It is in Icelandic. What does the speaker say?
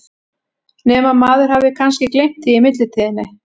Nema að maður hafi kannski gleymt því í millitíðinni?